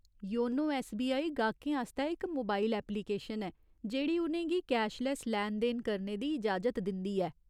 YONO SBI गाह्कें आस्तै इक मोबाइल ऐप्लिकेशन ऐ जेह्ड़ी उ'नें गी कैशलैस्स लैन देन करने दी इजाजत दिंदी ऐ।